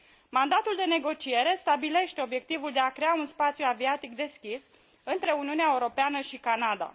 Mandatul de negociere stabilește obiectivul de a crea un spațiu aviatic deschis între Uniunea Europeană și Canada.